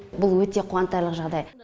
бұл өте қуантарлық жағдай